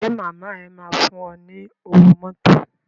Ṣé màmá ẹ máa fún ẹ ní owó mọ́tò.